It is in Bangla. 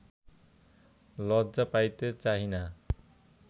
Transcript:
লজ্জা পাইতে চাহি না